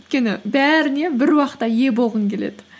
өйткені бәріне бір уақытта ие болғың келеді